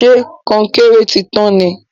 ṣe Kọnkéré tí tàn ní